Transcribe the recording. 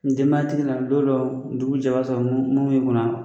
Denba tigi la lon dɔw dugu bi jɛ i b'a sɔrɔ minnu min b'i kun na.